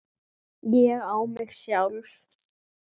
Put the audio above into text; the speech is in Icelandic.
ÉG Á MIG SJÁLF!